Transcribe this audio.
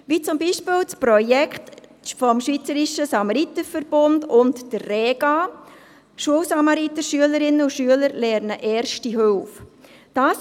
Die Schweizerische Rettungsflugwacht (Rega) und die Samaritervereine haben ein Projekt, bei dem es darum geht, dass Schülerinnen und Schüler das Leisten Erster Hilfe erlernen.